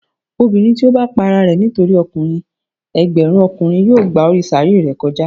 Obinrin ti o bá pá àrà rẹ nitori ọkùnrin, ẹgbẹrun Ọkùnrin yóò gbá orí sàáré rẹ kòjá.